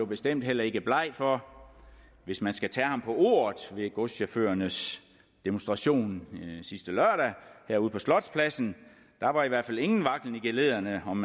bestemt heller ikke bleg for hvis man skal tage ham på ordet ved godschaufførernes demonstration sidste lørdag herude på slotspladsen der var i hvert fald ingen vaklen i geledderne om